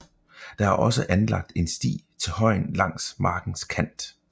Der er også anlagt en sti til højen langs markens kant